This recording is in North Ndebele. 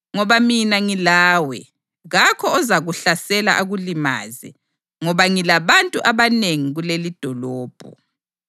Ngoba mina ngilawe, kakho ozakuhlasela akulimaze, ngoba ngilabantu abanengi kulelidolobho.”